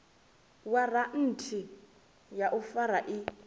waranthi ya u fara i